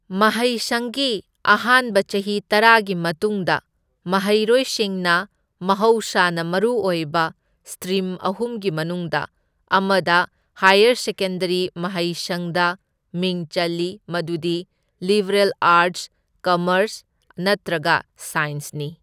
ꯃꯍꯩꯁꯪꯒꯤ ꯑꯍꯥꯟꯕ ꯆꯍꯤ ꯇꯔꯥꯒꯤ ꯃꯇꯨꯡꯗ, ꯃꯍꯩꯔꯣꯏꯁꯤꯡꯅ ꯃꯍꯧꯁꯥꯅ ꯃꯔꯨ ꯑꯣꯏꯕ ꯁ꯭ꯇꯔꯤꯝ ꯑꯍꯨꯝꯒꯤ ꯃꯅꯨꯡꯗ ꯑꯃꯗ ꯍꯥꯏꯌꯔ ꯁꯦꯀꯦꯟꯗꯔꯤ ꯃꯍꯩꯁꯪꯗ ꯃꯤꯡ ꯆꯜꯂꯤ ꯃꯗꯨꯗꯤ ꯂꯤꯕꯦꯔꯜ ꯑꯥꯔꯠꯁ, ꯀꯝꯃꯔꯁ ꯅꯠꯇ꯭ꯔꯒ ꯁꯥꯏꯟꯁꯅꯤ꯫